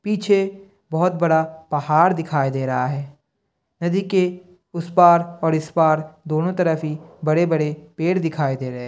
पीछे बहुत बड़ा पहाड़ दिखाई दे रहा है। नदी के इस पार और इस पार दोनों तरफ ही बड़े-बड़े पेड दिखाई दे रहे है।